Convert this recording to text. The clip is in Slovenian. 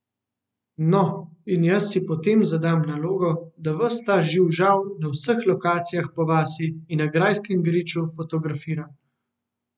No, in jaz si potem zadam nalogo, da ves ta živžav, na vseh lokacijah po vasi in na grajskem griču, fotografiram!